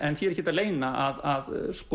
en því er ekkert að leyna að